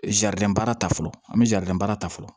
Zaridɛn baara ta fɔlɔ an bɛ zɛrdibaara ta fɔlɔ